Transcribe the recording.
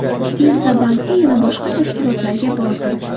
Tezda bankka, yana boshqa tashkilotlarga bordim.